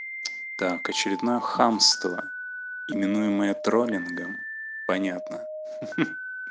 так очередное хамство именуемое троллингом понятно ха ха